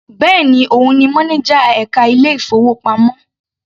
Bẹ́ẹ̀ni, òun ni mánájà ẹka ilé ìfowópamọ́.